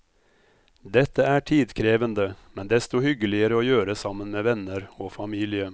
Dette er tidkrevende, men desto hyggeligere å gjøre sammen med venner og familie.